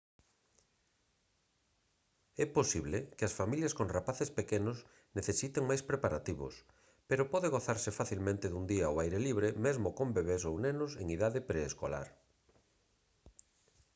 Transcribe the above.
é posible que as familias con rapaces pequenos necesite máis preparativos pero pode gozarse facilmente dun día ao aire libre mesmo con bebés ou nenos en idade preescolar